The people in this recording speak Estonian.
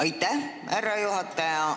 Aitäh, härra juhataja!